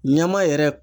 Ɲama yɛrɛ